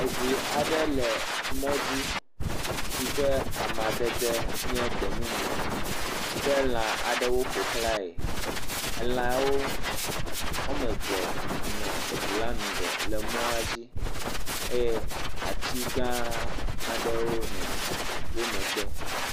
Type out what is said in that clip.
Eŋu aɖe le mɔ dzi si ƒe amedede nye gbemumu ke lã aɖewo ƒoxlae elãwo wɔme eve nɔ eŋu la ŋgɔ le emɔa dzi eye atsi gã aɖe nɔ wo megbe.